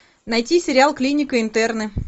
найти сериал клиника интерны